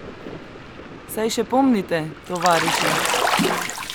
Saj še pomnite, tovariši?